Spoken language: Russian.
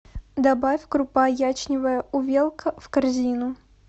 добавь крупа ячневая увелка в корзину